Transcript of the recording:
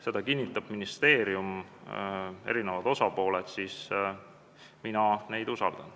Seda kinnitab ministeerium ja kinnitavad eri osapooled ning mina neid usaldan.